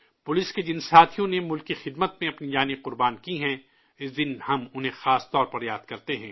police کے جن ساتھیوں نے ملک کی خدمت میں اپنی جانیں قربان کی ہیں، اس دن ہم انہیں خاص طور پر یاد کرتے ہیں